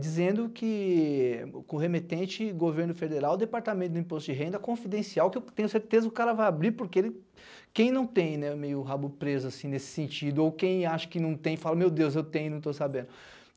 dizendo que o corremetente governo federal, Departamento do Imposto de Renda, confidencial, que eu tenho certeza que o cara vai abrir, porque quem não tem meio rabo preso, assim, nesse sentido, ou quem acha que não tem, fala, meu deus, eu tenho e não estou sabendo.